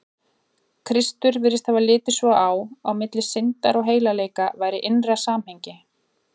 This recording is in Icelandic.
Kristur virðist hafa litið svo á, að milli syndar og heilagleika væri innra samhengi.